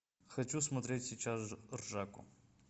хочу смотреть сейчас ржаку